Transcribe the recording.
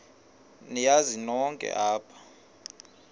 niyazi nonk apha